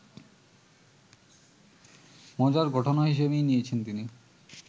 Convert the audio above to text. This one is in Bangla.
মজার ঘটনা হিসেবেই নিয়েছেন তিনি